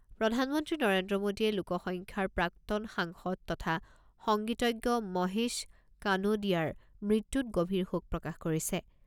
প্ৰধানমন্ত্ৰী নৰেন্দ্ৰ মোদীয়ে লোকসখ্যাৰ প্ৰাক্তন সাংসদ তথা সংগীতজ্ঞ মহেশ কানোডিয়াৰ মৃত্যুত গভীৰ শোক প্ৰকাশ কৰিছে।